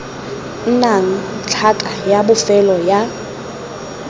nnang tlhaka ya bofelo ya